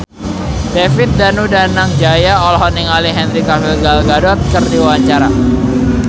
David Danu Danangjaya olohok ningali Henry Cavill Gal Gadot keur diwawancara